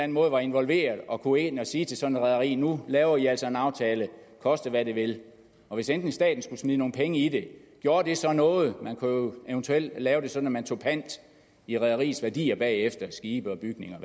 måde var involveret og kunne gå ind og sige til sådan et rederi nu laver i altså en aftale koste hvad det vil og hvis endelig staten skulle smide nogle penge i det gjorde det så noget man kunne jo eventuelt lave det sådan at man tog pant i rederiets værdier bagefter skibe bygninger